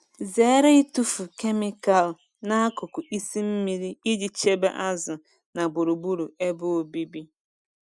Zere ịtụfu kemịkalụ n'akụkụ isi mmiri iji chebe azụ na gburugburu ebe obibi.